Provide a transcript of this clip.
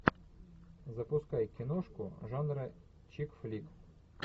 запускай киношку жанра чик флик